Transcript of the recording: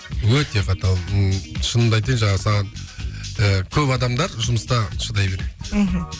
өте қаталмын ммм шынымды айтайын жаңағы саған ыыы көп адамдар жұмыста шыдай береді мхм